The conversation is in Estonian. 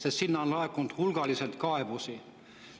Aga sinna on laekunud hulgaliselt kaebusi.